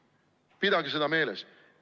Pidage seda meeles!